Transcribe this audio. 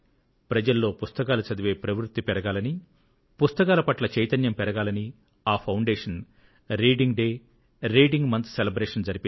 ప్రజల్లో పుస్తకాలు చదివే ప్రవృత్తి పెరగాలని పుస్తకాల పట్ల చైతన్యం పెరగాలని ఈ foundation reading day reading month celebration జరిపింది